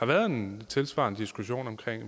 været en tilsvarende diskussion om